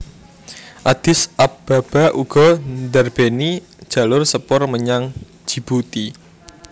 Addis Ababa uga ndarbèni jalur sepur menyang Djibouti